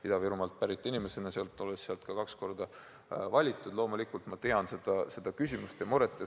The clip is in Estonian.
Ida-Virumaalt pärit inimesena, olles sealt ka kaks korda valitud, ma loomulikult tean neid probleeme ja muret.